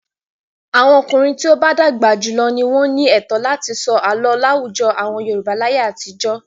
Àwọn ọkùnrin tí ó bá dàgbà jù lọ ni wọ́n ní ẹ̀tọ́ láti sọ àlọ́ láwùjọ àwọn Yorùbá láyé àtijọ́.